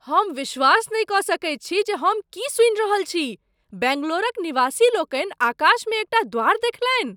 हम विश्वास नहि कऽ सकैत छी जे हम की सुनि रहल छी! बैंगलोरक निवासीलोकनि आकाशमे एकटा द्वार देखलनि!